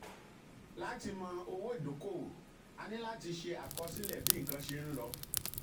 lati mọ owó ìdókòwò a níláti ṣe àkọsílẹ̀ bí nǹkan ṣe ń lọ.